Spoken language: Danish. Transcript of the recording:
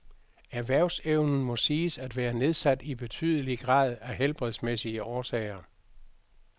Erhvervsevnen må siges at være nedsat i betydelig grad af helbredsmæssige årsager.